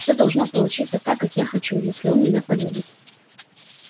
все должно получиться так как я хочу если он меня полюбит